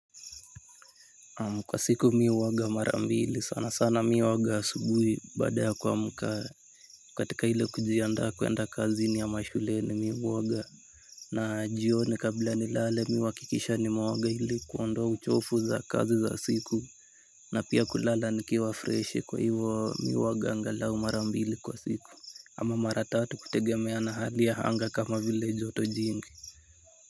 Naam, kwa siku mi huoga mara mbili sana sana mi huoga asubuhi baada ya kuamka katika ile kujiandaa kwenda kazini ama shuleni mi huwaga. Na jioni kabla nilale mi huhakikisha nimeoga ili kuondoa uchovu za kazi za siku. Na pia kulala nikiwa freshi. Kwa hivo, mi huoga angalau mara mbili kwa siku ama mara tatu kutegemeana hali ya anga kama vile joto jingi.